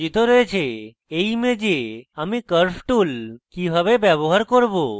এই image আমি curves tool কিভাবে ব্যবহার করব